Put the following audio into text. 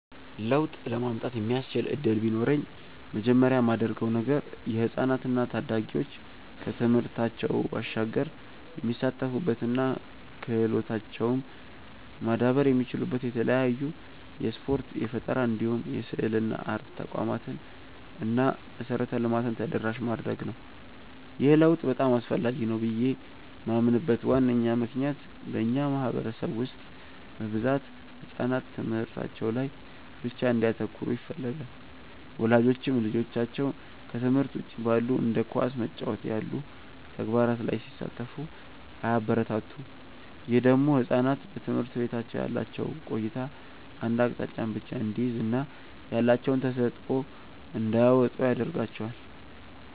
ለውጥ ለማምጣት የሚያስችል እድል ቢኖረኝ መጀመሪያ ማደርገው ነገር የህፃናት እና ታዳጊዎች ከትምህርታቸው ባሻገር የሚሳተፉበት እና ክህሎታቸውም ማዳበር የሚችሉበት የተለያዩ የስፖርት፣ የፈጠራ እንዲሁም የስዕልና አርት ተቋማትን እና መሰረተ ልማትን ተደራሽ ማድረግ ነው። ይህ ለውጥ በጣም አስፈላጊ ነው ብዬ ማምንበት ዋነኛ ምክንያት በእኛ ማህበረሰብ ውስጥ በብዛት ህጻናት ትምህርታቸው ላይ ብቻ እንዲያተኩሩ ይፈለጋል። ወላጆችም ልጆቻቸው ከትምህርት ውጪ ባሉ እንደ ኳስ መጫወት ያሉ ተግባራት ላይ ሲሳተፉ አያበረታቱም። ይህ ደግሞ ህጻናት በትምህርት ቤት ያላቸው ቆይታ አንድ አቅጣጫን ብቻ እንዲይዝ እና ያላቸውን ተሰጥዖ እንዳያወጡ ያረጋቸዋል።